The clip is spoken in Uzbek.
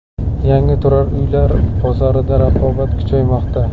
Yangi turar uylar bozorida raqobat kuchaymoqda.